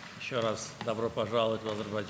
Azərbaycana bir daha xoş gəlmisiniz.